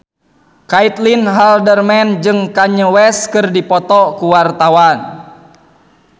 Caitlin Halderman jeung Kanye West keur dipoto ku wartawan